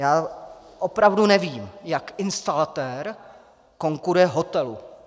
Já opravdu nevím, jak instalatér konkuruje hotelu.